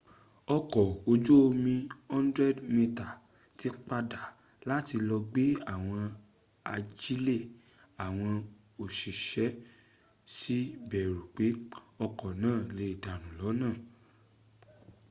ọkọ̀ ojú omi 100 metre tí padà láti lọ gbé àwọn ajílẹ̀ àwọn òṣìṣk sì bẹ̀rù pé ọkọ̀ náà lè dànù lọ́nà